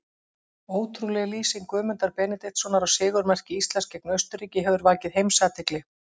Ótrúleg lýsing Guðmundar Benediktssonar á sigurmarki Íslands gegn Austurríki hefur vakið heimsathygli.